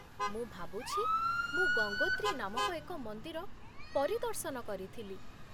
ମୁଁ ଭାବୁଛି, ମୁଁ ଗଙ୍ଗୋତ୍ରୀ ନାମକ ଏକ ମନ୍ଦିର ପରିଦର୍ଶନ କରିଥିଲି।